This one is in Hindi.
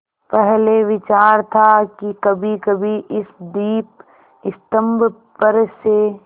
पहले विचार था कि कभीकभी इस दीपस्तंभ पर से